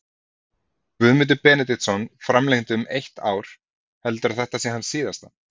Guðmundur Benediktsson framlengdi um eitt ár heldurðu að þetta sé hans síðasta?